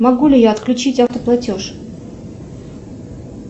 могу ли я отключить автоплатеж